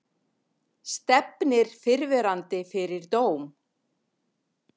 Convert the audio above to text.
Stefnir fyrrverandi fyrir dóm